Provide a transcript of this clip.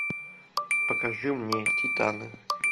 покажи мне титаны